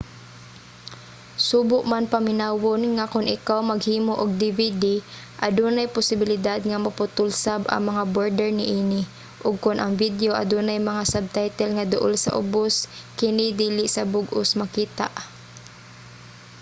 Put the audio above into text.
subo man paminawon nga kon ikaw maghimo og dvd adunay posibilidad nga maputol sab ang mga border niini ug kon ang video adunay mga subtitle nga duol sa ubos kini dili sa bug-os makita